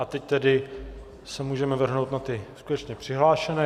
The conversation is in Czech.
A teď tedy se můžeme vrhnout na ty skutečně přihlášené.